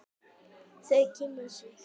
Þau kynna sig.